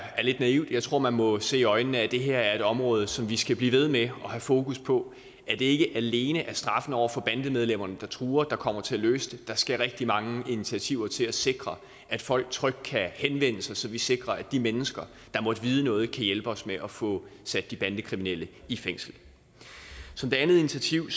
lidt naivt jeg tror man må se i øjnene at det her er et område som vi skal blive ved med at have fokus på ikke alene er straffen over for bandemedlemmerne der truer der kommer til at løse det der skal rigtig mange initiativer til at sikre at folk trygt kan henvende sig så vi sikrer at de mennesker der måtte vide noget kan hjælpe os med at få sat de bandekriminelle i fængsel som det andet initiativ